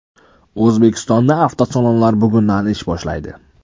O‘zbekistonda avtosalonlar bugundan ish boshlaydi.